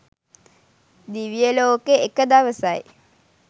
දිවිය ලෝකෙ එක දවසයි.